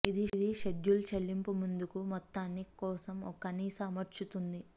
ఇది షెడ్యూల్ చెల్లింపు ముందుకు మొత్తాన్ని కోసం ఒక కనీస అమర్చుతుంది